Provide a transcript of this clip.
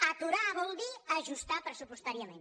aturar vol dir ajustar pressupostàriament